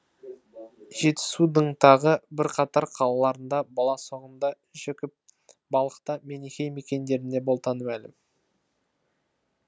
жетісудың тағы бірқатар қалаларында баласағүнда жікіл балықта менихей мекендері болтаны мәлім